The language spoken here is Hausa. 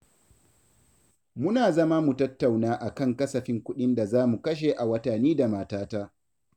Muna zama mu tattauna a kan kasafin kuɗin da za mu kashe a wata ni da matata.